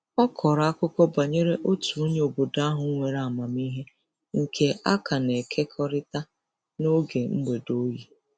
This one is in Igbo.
Ọ kọrọ akụkọ banyere otu onye obodo ahụ nwere amamiihe nke a ka na-ekekọrịta n'oge mgbede oyi.